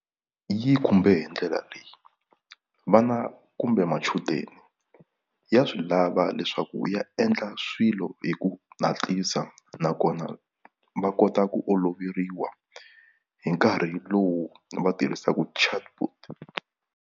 Yi khumbe hi ndlela leyi vana kumbe machudeni ya swi lava leswaku ya endla swilo hi ku nakona va kota ku oloveriwa hi nkarhi lowu va tirhisaku chatbot.